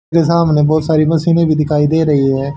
मेरे सामने बहोत सारी बसे में भी दिखाई दे रही है।